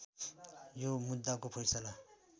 यो मुद्दाको फैसला